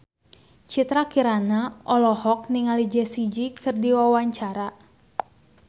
Citra Kirana olohok ningali Jessie J keur diwawancara